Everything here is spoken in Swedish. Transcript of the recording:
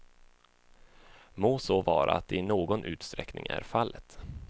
Må så vara att det i någon utsträckning är fallet.